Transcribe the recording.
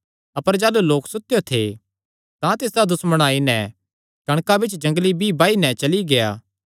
अपर जाह़लू लोक सुतेयो थे तां तिसदा दुश्मण आई नैं कणकां बिच्च जंगली बीई बाई नैं चली गेआ